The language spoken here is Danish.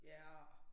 Ja